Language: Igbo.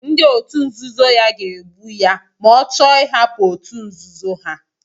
Ndị òtù nzuzo ya ga-egbu ya ma ọ chọọ ịhapụ òtù nzuzo ha.